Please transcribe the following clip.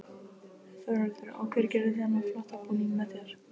Þórhildur: Og hver gerði þennan flotta búning með þér?